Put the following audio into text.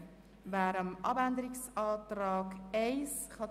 Jetzt stellen wir die Planungserklärung 1 der Planungserklärung 3 gegenüber.